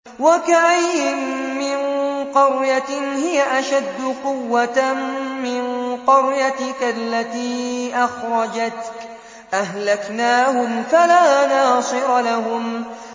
وَكَأَيِّن مِّن قَرْيَةٍ هِيَ أَشَدُّ قُوَّةً مِّن قَرْيَتِكَ الَّتِي أَخْرَجَتْكَ أَهْلَكْنَاهُمْ فَلَا نَاصِرَ لَهُمْ